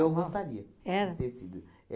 Eu gostaria. Era? De ter sido.